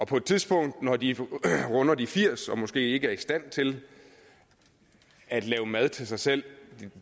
på et tidspunkt når de runder de firs og måske ikke er i stand til at lave mad til sig selv